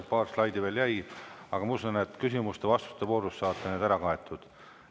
Paar slaidi veel jäi, aga ma usun, et küsimuste-vastuste voorus saate need ära kaetud.